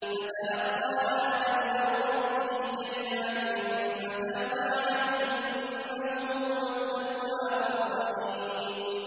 فَتَلَقَّىٰ آدَمُ مِن رَّبِّهِ كَلِمَاتٍ فَتَابَ عَلَيْهِ ۚ إِنَّهُ هُوَ التَّوَّابُ الرَّحِيمُ